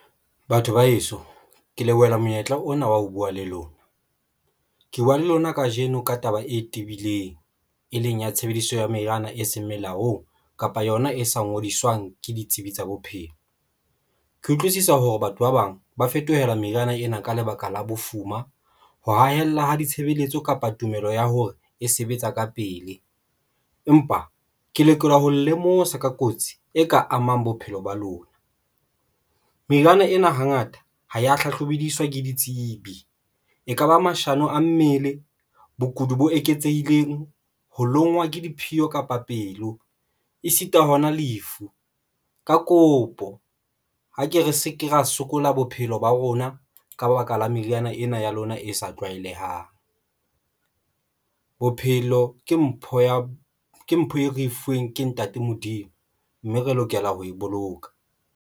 Batho ba heso ke lebohela monyetla ona wa ho buwa le lona, ke buwa le lona kajeno ka taba e tibileng, e leng ya tshebediso ya meriana e seng melaong kapa yona e sa ngodiswang ke ditsebi tsa bophelo. Ke utlwisisa hore batho ba bang ba fetohela meriana ena ka lebaka la bofuma. Ho hahella ha ditshebeletso kapa tumelo ya hore e sebetsa ka pele. Empa ke lekola ho lemosa ka kotsi e ka amang bophelo ba lona. Meriana ena hangata ho ya hlahloba bediswa ke ditsebi, e kaba mashano a mmele. Bokudi bo eketsehileng ho lonngwa ke diphio kapa pelo e sita hona lefu. Ka kopo ha ke re se ke ra sokola bophelo ba rona ka baka la meriana ena ya lona e sa tlwaelehang. Bophelo ke mpho ya ke mpho e re e fuweng ke ntate Modimo mme re lokela ho e boloka.